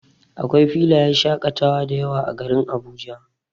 Akwai filayen shaƙatawa dayawa a garin Abuja.